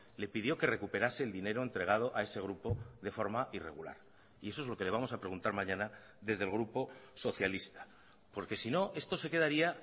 le pidió que recuperase el dinero entregado a ese grupo de forma irregular y eso es lo que le vamos a preguntar mañana desde el grupo socialista porque si no esto se quedaría